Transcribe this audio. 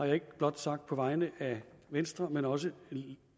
jeg ikke blot sagt på vegne af venstre men også